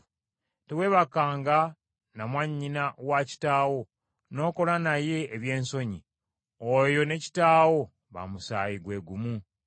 “ ‘Teweebakanga na mwannyina wa kitaawo n’okola naye ebyensonyi; oyo ne kitaawo ba musaayi gwe gumu.